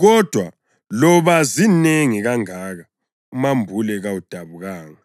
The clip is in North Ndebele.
kodwa loba zinengi kangaka umambule kawudabukanga.